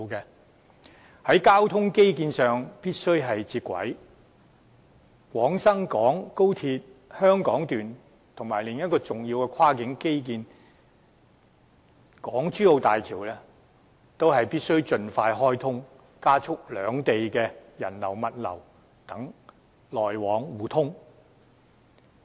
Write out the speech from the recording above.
我們必須在交通基建上與內地接軌，廣深港高鐵香港段及另一個重要跨境基建港珠澳大橋也必須盡快開通，從而加速兩地的人流、物流等往來互通。